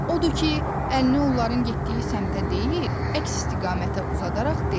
Odur ki, əlini onların getdiyi səmtə deyil, əks istiqamətə uzadaraq dedi.